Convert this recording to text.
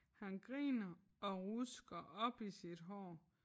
Han griner og rusker op i sit hår